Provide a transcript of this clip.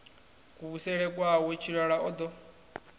kuvhusele kwawe tshilala o ḓo